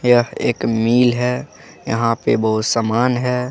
यह एक मिल है यहां पे बहुत सामान है।